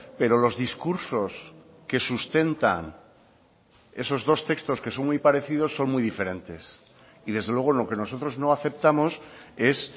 pero los discursos que sustentan esos dos textos que son muy parecidos son muy diferentes y desde luego lo que nosotros no aceptamos es